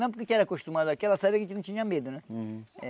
Não, porque era acostumado aqui, ela sabia que a gente não tinha medo, né? Hum